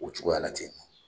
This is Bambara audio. O cogoya la ten